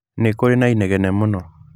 Nĩ kũrĩ na inegene mũno.